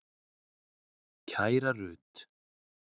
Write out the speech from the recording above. Kæra Rut.